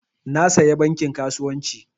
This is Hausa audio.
Na saya bankin kasuwancin